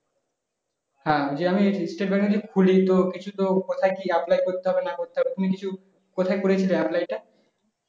হ্যাঁ যে আমি state bank এর যদি খুলি তো কিছু তো কোথায় কি apply করতে হবে না করতে হবে তো তুমি কিছু কোথায় করেছিলে apply টা